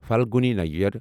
Falguni Nayar